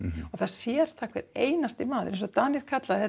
og það sér það hver einasti maður eins og Danir kalla þetta